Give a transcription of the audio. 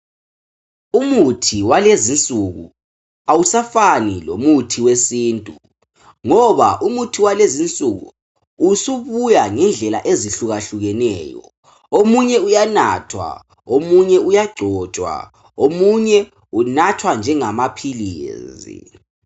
Umuthi walezinsuku awusafani lomuthi wesintu. Ngoba umuthi walezi nsuku usubuya ngendlela ezihlukahlukeneyo . Omunye uyanathwa omunye uyagcotshwa .Omunye unathwa njengamaphilisi.